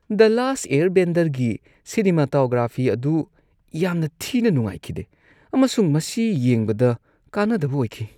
"ꯗ last ꯑꯦꯌꯔꯕꯦꯟꯗꯔ"ꯒꯤ cinematography ꯑꯗꯨ ꯌꯥꯝꯅ ꯊꯤꯅ ꯅꯨꯡꯉꯥꯏꯈꯤꯗꯦ ꯑꯃꯁꯨꯡ ꯃꯁꯤ ꯌꯦꯡꯕꯗ ꯀꯥꯟꯅꯗꯕ ꯑꯣꯏꯈꯤ ꯫